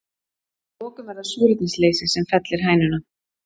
Að lokum er það súrefnisleysi sem fellir hænuna.